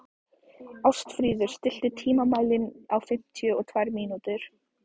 Ástfríður, stilltu tímamælinn á fimmtíu og tvær mínútur.